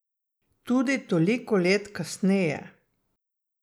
Tudi toliko let kasneje.